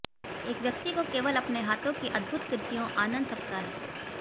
एक व्यक्ति को केवल अपने हाथों की अद्भुत कृतियों आनंद सकता है